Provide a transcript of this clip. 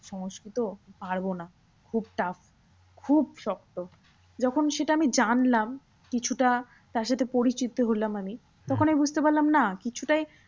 সংস্কৃত পারবো না খুব tough খুব শক্ত। যখন সেটা আমি জানলাম কিছুটা তারসাথে পরিচিত হলাম আমি। তখন আমি বুঝতে পারলাম না কিছুটা